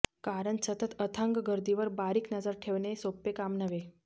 कारण सतत अथांग गर्दीवर बारीक नजर ठेवणे सोपे काम नव्हे